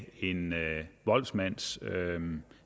en voldsmands